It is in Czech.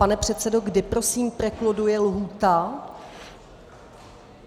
Pane předsedo, kdy prosím prekluduje lhůta?